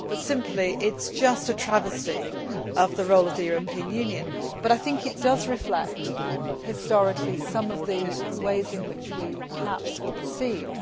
It is simply just a travesty of the role of the European Union, but I think it does reflect historically some of the ways in which we perhaps were perceived.